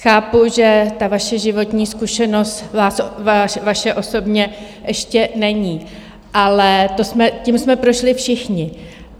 Chápu, že ta vaše životní zkušenost, vaše osobně, ještě není, ale tím jsme prošli všichni.